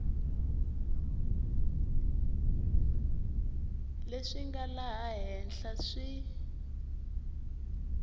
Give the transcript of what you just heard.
leswi nga laha henhla swi